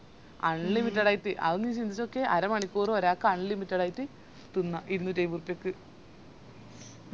unlimited അത് നീ ചിന്തിച്ചോക്ക്യേ അരമണിക്കൂറ്‍ ഒരാക്ക് unlimited ആയിറ്റ്‌ തിന്ന ഇരുന്നൂറ്റയിമ്പോർപ്പിയ്ക്ക്